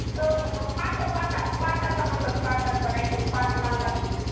पाटाचा म्हणतात काही तरी पाट म्हणतात